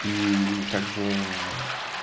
и и как бы